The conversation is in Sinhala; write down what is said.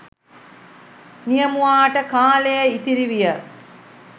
නියමුවාට කාලය ඉතිරි විය